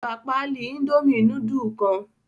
Ó gbà páálí Indomie núdúlù kan?